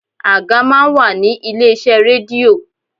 Àga máa ń wà ní ilé iṣẹ́ rédíò.